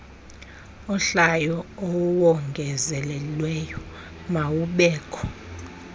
ohlayo owongezelelweyo mawubekho